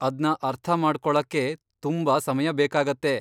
ಅದ್ನ ಅರ್ಥ ಮಾಡ್ಕೊಳಕ್ಕೇ ತುಂಬಾ ಸಮಯ ಬೇಕಾಗತ್ತೆ.